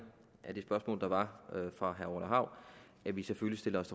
spørgsmål der var fra herre orla hav at vi selvfølgelig stiller os